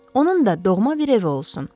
Onun da doğma bir evi olsun.